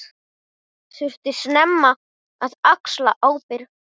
Þurfti snemma að axla ábyrgð.